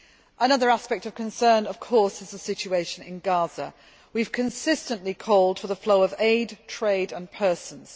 Another aspect of concern, of course, is the situation in Gaza. We have consistently called for the flow of aid, trade and persons.